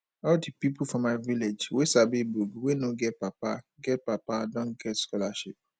all di pipu for my village wey sabi book wey no get papa get papa don get scholarship